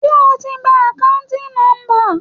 Ṣé o ti gba akanti nomba.